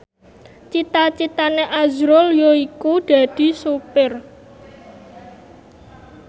cita citane azrul yaiku dadi sopir